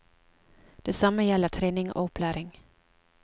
Det samme gjelder trening og opplæring.